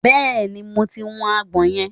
bẹẹni mo ti wu agbọ̀n yẹn